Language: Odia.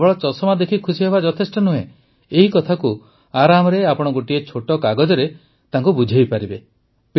କେବଳ ଚଷମା ଦେଖି ଖୁସିହେବା ଯଥେଷ୍ଟ ନୁହେଁ ଏହିକଥାକୁ ଆରାମରେ ଆପଣ ଗୋଟିଏ ଛୋଟ କାଗଜରେ ତାକୁ ବୁଝାଇ ଦେଇପାରିବେ